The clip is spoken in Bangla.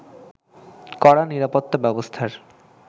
কড়া নিরাপত্তা ব্যবস্থার